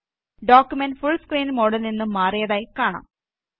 document full screen മോഡിൽ നിന്നും മാറിയതായി കാണാം